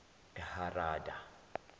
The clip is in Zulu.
eharada